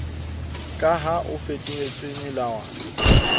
ka ha o fetotswe melawana